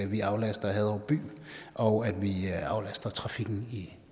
vi aflaster haderup by og at vi aflaster trafikken